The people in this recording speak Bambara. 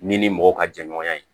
Ni ni mɔgɔ ka jɛ ɲɔgɔnya ye